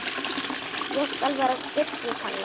Ég skal vera stillt sagði Palla.